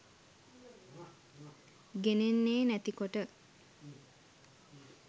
ගෙනෙන්නේ නැති කොට.